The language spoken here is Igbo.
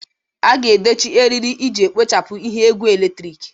A ga-edochi eriri iji kpochapụ ihe egwu eletrik.